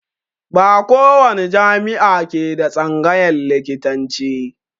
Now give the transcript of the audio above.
Ba ko wani jami'a ke da tsangayan likitanci